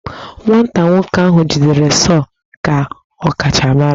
Nwata nwoke ahụ jidere sọọ ka ọkachamara